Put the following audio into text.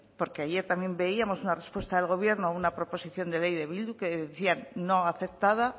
porque ayer también veíamos una respuesta del gobierno a una proposición de ley de bildu que decían no aceptada